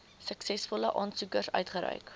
suksesvolle aansoekers uitgereik